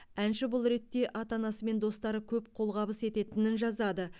әнші бұл ретте ата анасы мен достары көп қолғабыс ететінін жазады